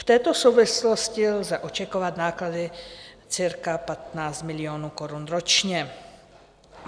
V této souvislosti lze očekávat náklady cca 15 milionů korun ročně.